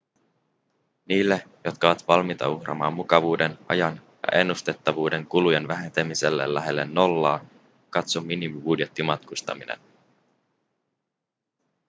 niille jotka ovat valmiita uhraamaan mukavuuden ajan ja ennustettavuuden kulujen vähentämiselle lähelle nollaa katso minimibudjettimatkustaminen